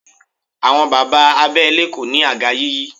Àwọn bàbá abẹ́lé kò ní àga yíyí.